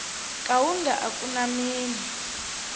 kaunda a ku na mina